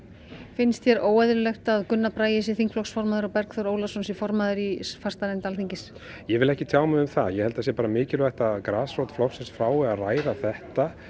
finnst þér óeðlilegt að Gunnar Bragi sé þingflokksformaður og Bergþór Ólason sé formaður í fastanefnd Alþingis ég vil ekki tjá mig um það ég held það sé bara mikilvægt að grasrót flokksins fái að ræða þetta